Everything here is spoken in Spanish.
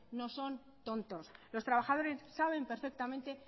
no son tontos los trabajadores saben perfectamente